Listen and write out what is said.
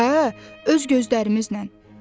Hə, öz gözlərimizlə.